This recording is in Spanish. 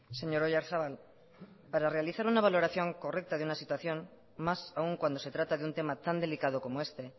señor oyarzabal para realizar una valoración correcta de una situación más aun cuando se trata de un tema tan delicado como este